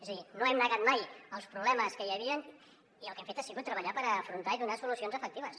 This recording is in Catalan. és a dir no hem negat mai els problemes que hi havia i el que hem fet ha sigut treballar per afrontar los i donar hi solucions efectives